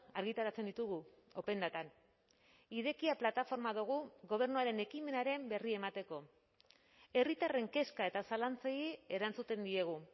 argitaratzen ditugu open datan irekia plataforma dugu gobernuaren ekimenaren berri emateko herritarren kezka eta zalantzei erantzuten diegu